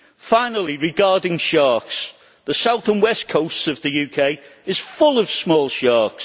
Finally, regarding sharks, the south and west coasts of the UK are full of small sharks.